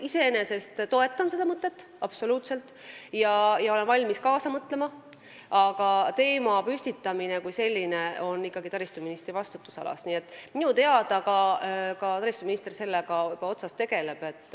Ma toetan seda mõtet kindlasti ja olen valmis kaasa mõtlema, aga teemapüstitus kui selline on ikkagi taristuministri vastutusalas ja minu teada tema sellega ka tegeleb.